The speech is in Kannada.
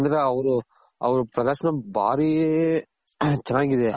ಯಾಕಂದ್ರೆ ಅವ್ರು ಅವ್ರ್ ಪ್ರದರ್ಶನ ಬಾರಿ ಚೆನ್ನಾಗಿದೆ